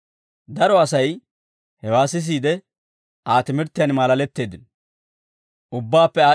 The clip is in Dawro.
Daro Asay hewaa sisiide, Aa timirttiyaan maalaletteeddino.